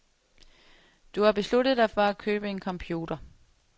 Du har besluttet dig for at købe en computer.